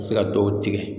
A bɛ se ka dɔw tigɛ